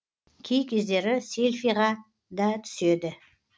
кей кездері селфиға да түседі